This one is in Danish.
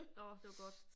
Åh det var godt